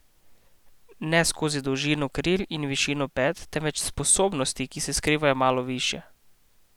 Ne skozi dolžino kril in višino pet, temveč sposobnosti, ki se skrivajo malo višje.